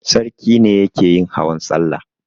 Sarki ne yake yin hawan salla.